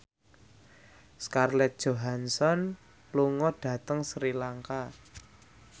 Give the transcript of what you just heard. Scarlett Johansson lunga dhateng Sri Lanka